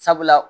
Sabula